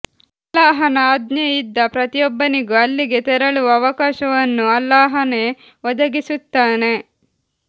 ಅಲ್ಲಾಹನ ಆಜ್ಞೆ ಇದ್ದ ಪ್ರತೀಯೊಬ್ಬನಿಗೂ ಅಲ್ಲಿಗೆ ತೆರಳುವ ಅವಕಾಶವನ್ನು ಅಲ್ಲಾಹನೇ ಒದಗಿಸುತ್ತಾನೆ